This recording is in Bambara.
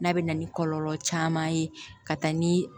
N'a bɛ na ni kɔlɔlɔ caman ye ka taa ni